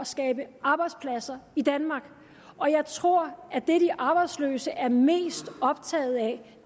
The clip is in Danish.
skabe arbejdspladser i danmark og jeg tror at det de arbejdsløse er mest optagede af